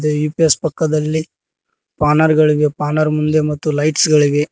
ಇದೇ ಯು_ಪಿ_ಎಸ್ ಪಕ್ಕದಲ್ಲಿ ಪಾನಾರ್ ಗಳಿವೆ ಪಾನಾರ್ ಮುಂದೆ ಮತ್ತು ಲೈಟ್ಸ್ ಗಳಿವೆ.